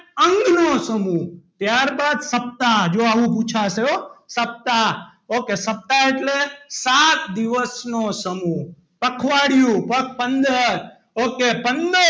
અંગનો સમૂહ ત્યારબાદ સપ્તાહ જો આવું પૂછાશે સપ્તાહ okay સપ્તાહ એટલે સાત દિવસનો સમૂહ પખવાડિયું પખ પંદર okay પંદર,